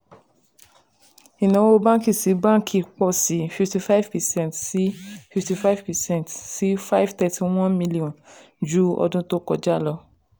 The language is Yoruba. ìnáwó bánkì-sí-bánkì pọ̀ sí fifty percent sí fifty five percent sí five thirty one million ju ọdún tó kọjá lọ.